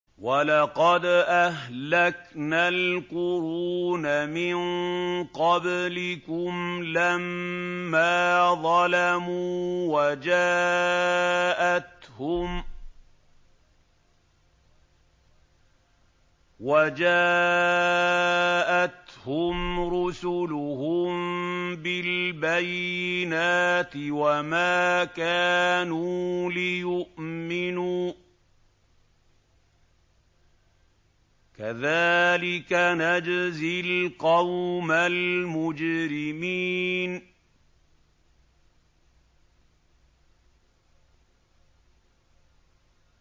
وَلَقَدْ أَهْلَكْنَا الْقُرُونَ مِن قَبْلِكُمْ لَمَّا ظَلَمُوا ۙ وَجَاءَتْهُمْ رُسُلُهُم بِالْبَيِّنَاتِ وَمَا كَانُوا لِيُؤْمِنُوا ۚ كَذَٰلِكَ نَجْزِي الْقَوْمَ الْمُجْرِمِينَ